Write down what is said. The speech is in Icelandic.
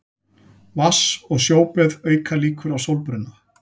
Vatns- og sjóböð auka líkur á sólbruna.